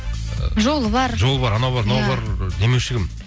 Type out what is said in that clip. жолы бар жолы бар анау бар мынау бар демеуші кім